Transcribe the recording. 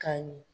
Ka ɲɛ